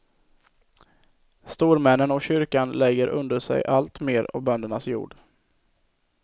Stormännen och kyrkan lägger under sig alltmer av böndernas jord.